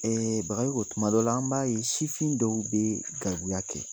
Bagayoko tuma dɔw la, an b'a ye sifin dɔw bee gɛribuya kɛ